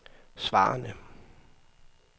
svarende